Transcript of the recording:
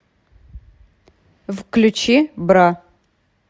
включи бра